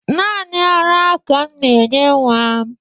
Naanị ara ka m na-enye nwa m